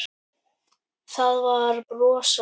Það var brosað.